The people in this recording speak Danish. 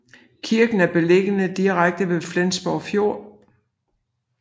Kirken er beliggende direkte ved Flensborg Fjord